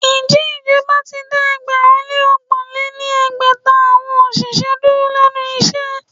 Ǹjẹ́ ìjọba ti dá ẹgbẹ̀rún lé ọgbọ̀n lé ní ẹgbẹ́ta awọn òṣìṣẹ́ dúró lénu iṣẹ́?